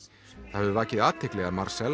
það hefur vakið athygli að